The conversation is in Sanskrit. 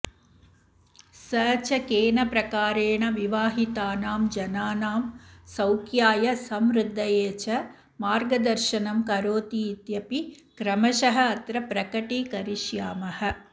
स च केन प्रकारेण विवाहितानाम् जनानाम् सौख्याय समृद्धये च मार्गदर्शनम् करोतीत्यपि क्रमशः अत्र प्रकटीकरिष्यामः